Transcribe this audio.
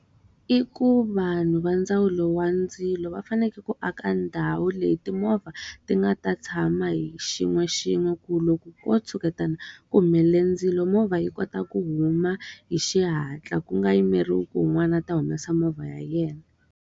I ku vanhu va ndzawulo wa ndzilo va fanekele ku aka ndhawu leyi timovha ti nga ta tshama hi xin'we xin'we ku loko ko tshuketana ku humelele ndzilo movha yi kota ku huma hi xihatla. Ku nga yimeriwi ku un'wana ta humesa movha ya yena.